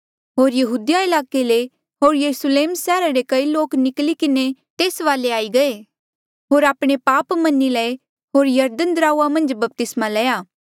होर यहूदिया ईलाके ले होर यरुस्लेम सैहरा ले कई लोक निकली किन्हें तेस वाले गये होर आपणे पाप मनी लये होर यरदन दराऊआ मन्झ बपतिस्मा लया